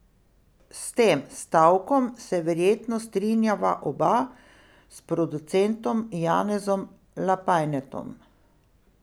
S tem stavkom se verjetno strinjava oba s producentom Janezom Lapajnetom.